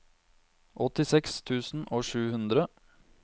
åttiseks tusen og sju hundre